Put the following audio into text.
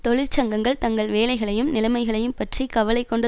தொழிற்சங்கங்கள் தங்கள் வேலைகளையும் நிலைமைகளையும் பற்றி கவலை கொண்ட